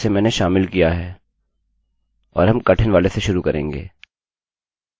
और हम कठिन वाले से शुरू करेंगे